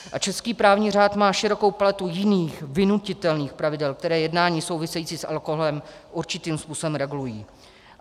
A český právní řád má širokou paletu jiných vynutitelných pravidel, která jednání související s alkoholem určitým způsobem regulují.